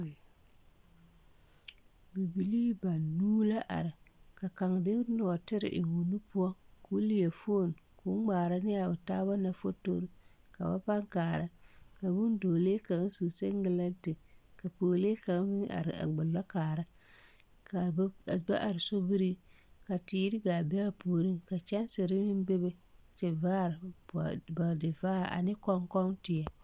Bibilii banuu la are ka kaŋ de nɔɔtire eŋ o nu poɔ koo leɛ foon koo ngmaara ne a o taaba na fotorre ka ba paŋ kaara ka bondɔɔlee kaŋ su seŋgilɛnte ka pɔɔlee kaŋ meŋ are a gbullɔ kaara kaa ba are sobiriŋ ka teere gaa be a puoriŋ ka kyɛnserre meŋ bebe tivaare bɔɔdivaare ane kɔŋkɔŋteɛ.